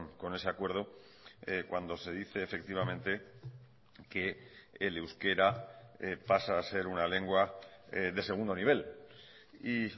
con ese acuerdo cuando se dice efectivamente que el euskera pasa a ser una lengua de segundo nivel y